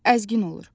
Əzgin olur.